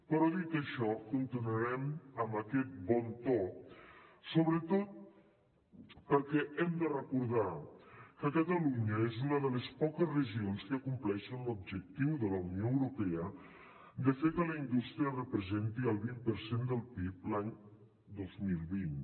però dit això continuarem amb aquest bon to sobretot perquè hem de recordar que catalunya és una de les poques regions que compleixen l’objectiu de la unió europea de fer que la indústria representi el vint per cent del pib l’any dos mil vint